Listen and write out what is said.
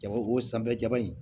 Jago o sanfɛ jaba in